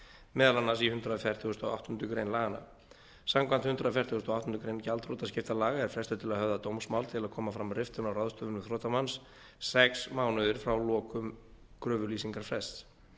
meðal annars í hundrað fertugasta og áttundu grein laganna samkvæmt hundrað fertugasta og áttundu greinar gjaldþrotaskiptalaga er frestur til að höfða dómsmál til að koma fram riftun á ráðstöfunum þrotamanns sex mánuðir frá lokum kröfulýsingarfrests